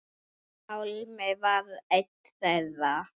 Pálmi var einn þeirra.